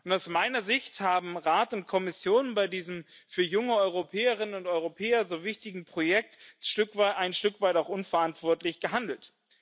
Aus meiner Sicht haben Rat und Kommission bei diesem für junge Europäerinnen und Europäer so wichtigen Projekt ein Stück weit auch unverantwortlich gehandelt.